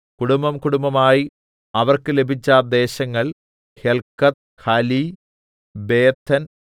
കുടുബം കുടുംബമായി അവർക്ക് ലഭിച്ച ദേശങ്ങൾ ഹെല്‍ക്കത്ത് ഹലി ബേതെൻ